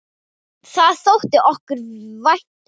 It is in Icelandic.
Það þótti okkur vænt um.